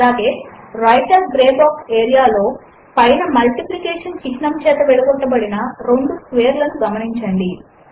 అలాగే writer grey box ఏరియాలో పైన మల్టిప్లికేషన్ చిహ్నము చేత విడగొట్టబడిన రెండు స్కేర్ లను గమనించండి